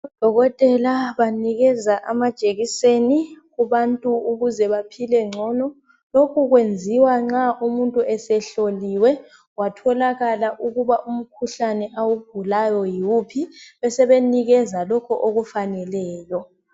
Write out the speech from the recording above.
Odokotela banikeza amajekiseni kubantu ukuze baphile ngcono. Lokhu kwenziwa nxa umuntu esehloliwe kwatholakala ukuba umkhuhlane awugulayo yiwuphi. Besebenikeza lokho okufaneleyo.